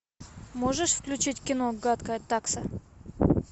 можешь включить кино гадкая такса